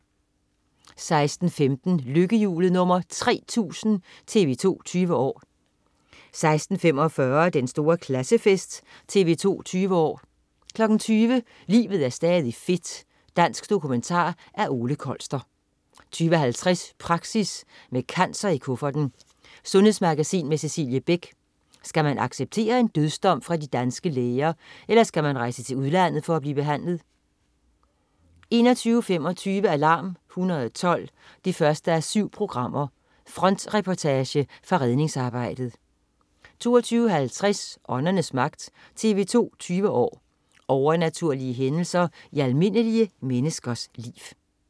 16.15 Lykkehjulet nr. 3000. TV 2 20 år 16.45 Den store klassefest. TV 2 20 år 20.00 Livet er stadig fedt. Dansk dokumentar af Ole Kolster 20.50 Praxis: Med cancer i kufferten. Sundhedsmagasin med Cecilie Beck. Skal man acceptere en dødsdom fra de danske læger, eller skal man rejse til udlandet for at blive behandlet? 21.25 Alarm 112 1:7. Frontreportage fra redningsarbejdet 22.50 Åndernes Magt. TV 2 20 år: Overnaturlige hændelser i almindelige menneskers liv